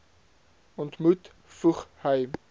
ontmoet voeg hy